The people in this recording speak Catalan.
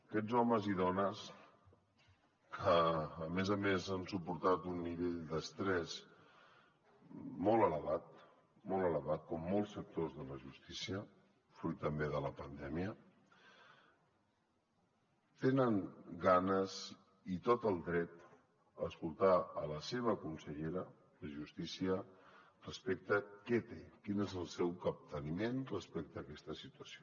aquests homes i dones que a més a més han suportat un nivell d’estrès molt elevat molt elevat com molts sectors de la justícia fruit també de la pandèmia tenen ganes i tot el dret a escoltar la seva consellera de justícia respecte què té quin és el seu capteniment respecte a aquesta situació